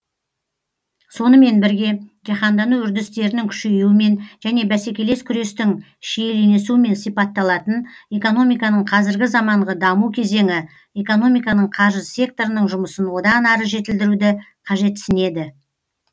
сонымен бірге жаһандану үрдістерінің күшеюімен және бәсекелес күрестің шиеленісуімен сипатталатын экономиканың қазіргі заманғы даму кезеңі экономиканың қаржы секторының жұмысын одан ары жетілдіруді қажетсінеді